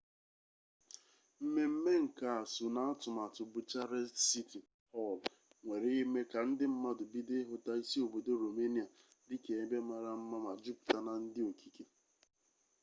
mmemme nka a so n'atụmatụ bucharest siti họl nwere ime ka ndi mmadụ bido ịhụta isi obodo romenia dịka ebe mara mma ma juputa na ndi okike